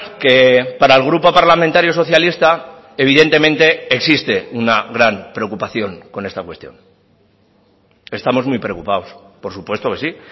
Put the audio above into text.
que para el grupo parlamentario socialista evidentemente existe una gran preocupación con esta cuestión estamos muy preocupados por supuesto que sí